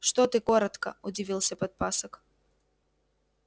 что ты коротко удивился подпасок